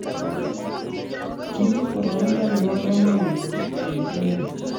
Ki boroindo nebo komonut eng inne .